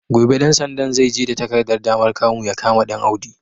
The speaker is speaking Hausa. Gobe ɗan sandan zai je da takardar damar kamu ya kama Ɗanaudi.